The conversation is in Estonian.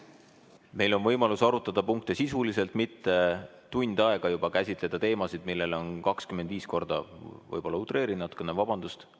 Meil on võimalus arutada punkte sisuliselt, mitte tund aega juba käsitleda teemasid, millele on 25 korda – võib-olla utreerin natukene, vabandust!